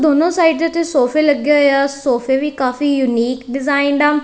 ਦੋਨੋਂ ਸਾਈਡ ਤੇ ਸੋਫੇ ਲੱਗੇ ਹੋਏ ਆ ਸੋਫੇ ਵੀ ਕਾਫੀ ਯੂਨੀਕ ਡਿਜ਼ਾਇਨ ਆ।